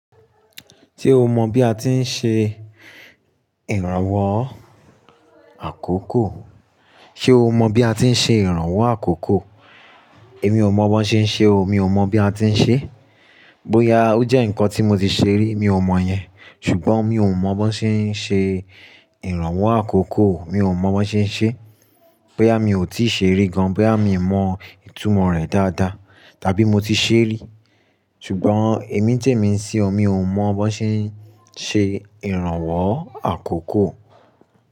Ṣé o mọ bí a ti ń ṣe ìrànwọ́ àkókò? Ṣé o mọ bí a ti ń ṣe ìrànwọ́ àkókò? Èmi ò mọ bó ṣe ń ṣe o. Mi ò mọ bí a ti ń ṣe. Bóyá ó jẹ́ ǹkan tí mo ti ṣe rí mi ò mọ yẹn. Ṣùgbọ́n mi ò mọ bó ṣe ń ṣe ìrànwọ́ àkókò. Mi ò mọ bó ṣe ń ṣe. Bóyá mi ò tíì ṣe rí gan, bóyá mi ò mọ ìtumọ̀ rẹ̀ dáadáa, tàbí mo ti ṣe rí. Ṣùgbọ́n èmi tèmi sí ọ mi ò mọ bó ṣe ń ṣe ìrànwọ́ àkókò.